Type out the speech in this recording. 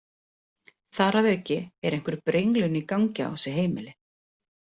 Þar að auki er einhver brenglun í gangi á þessu heimili.